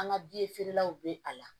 An ka bi feerelaw bɛ a la